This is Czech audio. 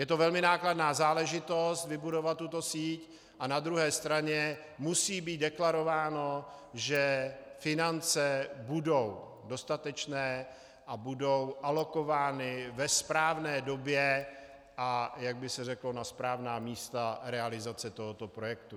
Je to velmi nákladná záležitost, vybudovat tuto síť, a na druhé straně musí být deklarováno, že finance budou dostatečné a budou alokovány ve správné době, a jak by se řeklo, na správná místa realizace tohoto projektu.